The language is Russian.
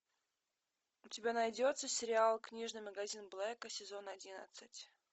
у тебя найдется сериал книжный магазин блэка сезон одиннадцать